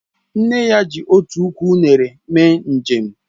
Nne ya ji otu ukwu unere mee njem